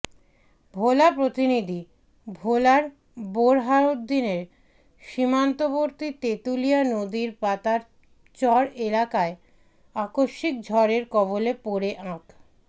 ভোলা প্রতিনিধিঃ ভোলার বোরহানউদ্দিনের সীমান্তবর্তী তেঁতুলিয়া নদীর পাতার চর এলাকায় আকস্মিক ঝড়ের কবলে পড়ে আক